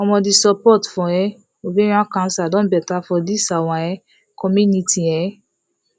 omo the support for um ovarian cancer don better for this our um community um